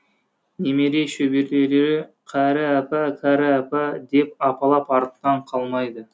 немере шөберелері кәрі апа кәрі апа деп апалап артынан қалмайды